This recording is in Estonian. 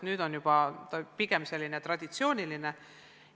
Nüüd on see juba pigem traditsiooniline.